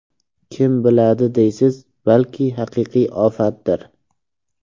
Kim biladi deysiz, balki haqiqiy ofatdir.